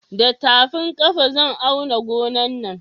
Da tafin ƙafa zan auna gonan nan